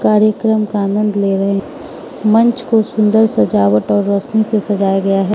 कार्यक्रम का आनंद ले रहे मंच को सुंदर सजावट और रोशनी से सजाया गया है।